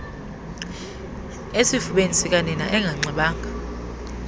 esifubeni sikanina enganxibanga